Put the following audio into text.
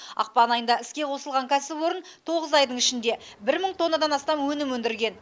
ақпан айында іске қосылған кәсіпорын тоғыз айдың ішінде бір мың тоннадан астам өнім өндірген